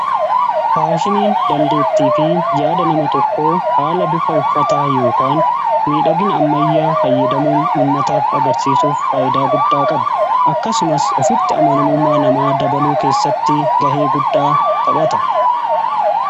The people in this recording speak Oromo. faashiniin dandeettii fi yaada nama tokko haala bifa uffataa yookaan miidhagina ammayyaa fayyadamuun ummataaf agarsiisuuf faayidaa guddaa qaba akkasumas ofitti amanamummaa namaa dabaluu keessatti gahee guddaa taphata